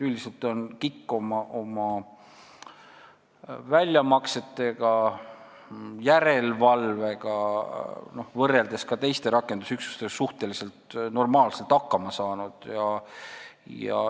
Üldiselt on KIK võrreldes teiste rakendusüksustega oma väljamaksete ja järelevalvega suhteliselt normaalselt hakkama saanud.